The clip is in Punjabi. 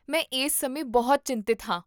ਮੈਂ ਇਸ ਸਮੇਂ ਬਹੁਤ ਚਿੰਤਤ ਹਾਂ